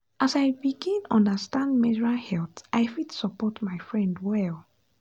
as i begin understand menstrual health i fit support my friend well.